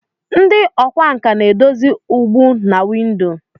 Ndị ọkwá nkà na-edozi ụgbụ na windo.